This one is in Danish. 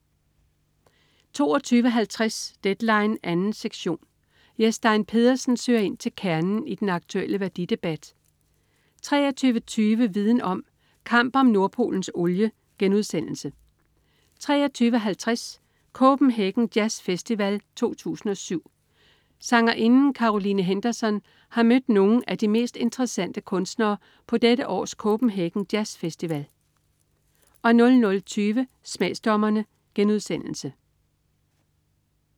22.50 Deadline 2. sektion. Jes Stein Pedersen søger ind til kernen i den aktuelle værdidebat 23.20 Viden om: Kamp om Nordpolens olie* 23.50 Copenhagen Jazzfestival 2007. Sangerinden Caroline Henderson har mødt nogle af de mest interessante kunstnere på dette års Copenhagen Jazzfestival 00.20 Smagsdommerne*